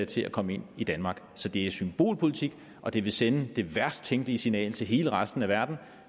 til at komme ind i danmark så det er symbolpolitik og det vil sende det værst tænkelige signal til hele resten af verden